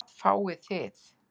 En hvað fáið þið?